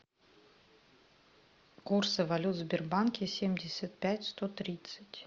курсы валют в сбербанке семьдесят пять сто тридцать